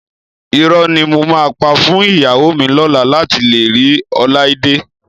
Irọ́ ni mo máa pa fún ìyàwó mi lọ́la láti lè rí Ọláídé